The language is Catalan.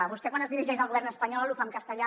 vostè quan es dirigeix al govern espanyol ho fa en castellà